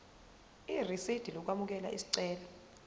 irisidi lokwamukela isicelo